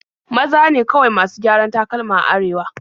Maza ne kawai masu gyaran takalma a Arewa.